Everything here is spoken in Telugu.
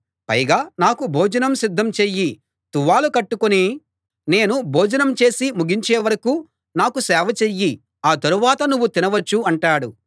పైగా నాకు భోజనం సిద్ధం చెయ్యి తువ్వాలు కట్టుకుని నేను భోజనం చేసి ముగించే వరకూ నాకు సేవ చెయ్యి ఆ తరువాత నువ్వు తినవచ్చు అంటాడు